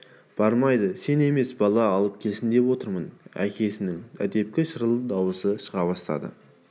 бармайды сен емес бала алып келсін деп отырмын әкесінің әдепкі шырыл дауысы шыға бастады